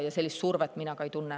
Ja sellist survet ma ka ei tunne.